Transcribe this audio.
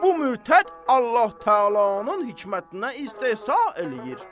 Bu mürtəd Allah Təalanın hikmətinə istehza eləyir.